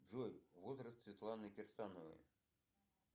джой возраст светланы кирсановой